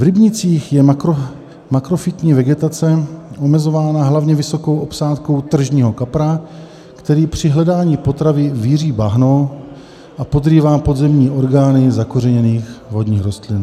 V rybnících je makrofytní vegetace omezována hlavně vysokou obsádkou tržního kapra, který při hledání potravy víří bahno a podrývá podzemní orgány zakořeněných vodních rostlin.